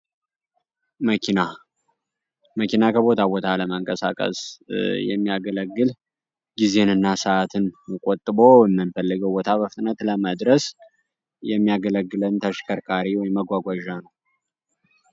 መኪና መኪና ከቦታ ቦታ ለመንቀሳቀስ የሚያገለግል ጊዜና ሰዓትን ቆጥቡ የምንፈለገው ቦታ ለመድረስ የሚያስፈልገን ተሽከርካሪ ወይም መጓጓዣ ነው።